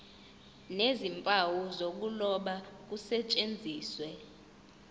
nezimpawu zokuloba kusetshenziswe